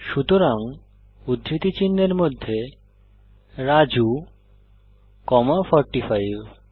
সুতরাং উদ্ধৃতি চিনহের মধ্যে রাজু কমা 45